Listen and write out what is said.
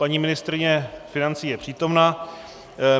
Paní ministryně financí je přítomna.